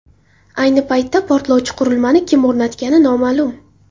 Ayni paytda portlovchi qurilmani kim o‘rnatgani noma’lum.